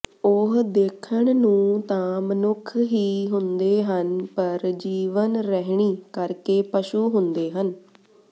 ਉਹ ਦੇਖਣ ਨੂੰ ਤਾਂ ਮਨੁੱਖ ਹੀ ਹੁੰਦੇ ਹਨ ਪਰ ਜੀਵਨ ਰਹਿਣੀ ਕਰਕੇ ਪਸ਼ੂ ਹੁੰਦੇ ਹਨ